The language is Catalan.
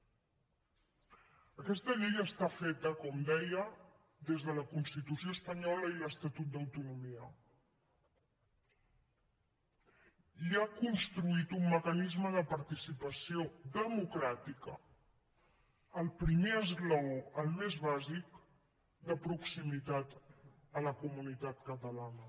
aquesta llei està feta com deia des de la constitució espanyola i l’estatut d’autonomia i ha construït un mecanisme de participació democràtica el primer esglaó el més bàsic de proximitat a la comunitat catalana